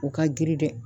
U ka girin dɛ